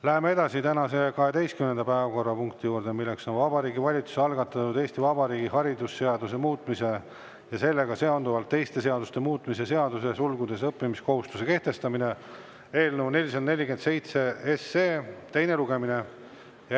Läheme edasi tänase 12. päevakorrapunkti juurde, mis on Vabariigi Valitsuse algatatud Eesti Vabariigi haridusseaduse muutmise ja sellega seonduvalt teiste seaduste muutmise seaduse eelnõu 447 teine lugemine.